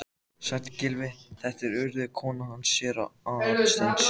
Sæll, Gylfi, þetta er Urður, konan hans séra Aðal steins.